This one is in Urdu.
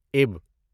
اِب